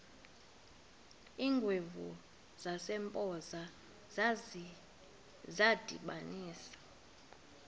iingwevu zasempoza zadibanisana